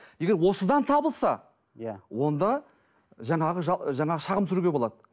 егер осыдан табылса иә онда жаңағы жаңағы шағым түсіруге болады